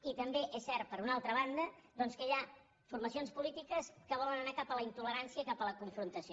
i també és cert per una altra banda doncs que hi ha formacions polítiques que volen anar cap a la intolerància i cap a la confronta·ció